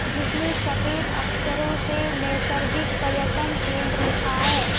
जिसमें सफेद अक्षरों से नैसर्गिक पर्यटन केंद्र लिखा है।